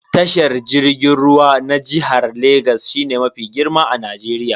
Tashar jirgin ruwa na jihar Legas shine mafi girma a Najeriya.